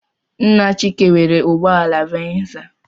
Nna Chike nwere ụgbọala venza.